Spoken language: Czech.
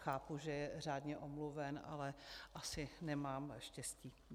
Chápu, že je řádně omluven, ale asi nemám štěstí.